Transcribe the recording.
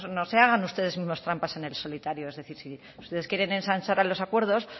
no se hagan ustedes mismos trampas en el solitario es decir si ustedes quieren ensanchar los acuerdos